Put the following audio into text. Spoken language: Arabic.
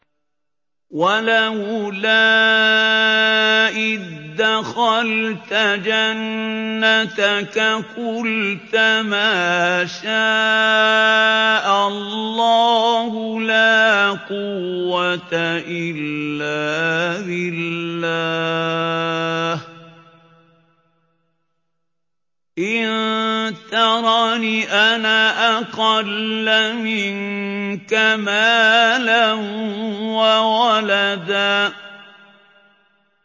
وَلَوْلَا إِذْ دَخَلْتَ جَنَّتَكَ قُلْتَ مَا شَاءَ اللَّهُ لَا قُوَّةَ إِلَّا بِاللَّهِ ۚ إِن تَرَنِ أَنَا أَقَلَّ مِنكَ مَالًا وَوَلَدًا